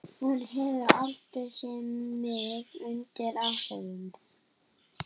Hún hefur aldrei séð mig undir áhrifum.